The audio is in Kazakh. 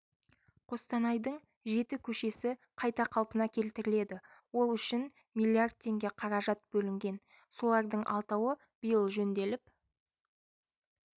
қостанайдың жеті көшесі қайта қалпына келтіріледі ол үшін млрд теңге қаражат бөлінген солардың алтауы биыл жөнделіп